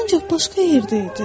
Ancaq başqa yerdə idi.